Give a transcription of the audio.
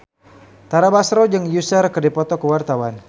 Tara Basro jeung Usher keur dipoto ku wartawan